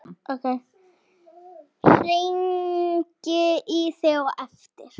Hringi í þig á eftir.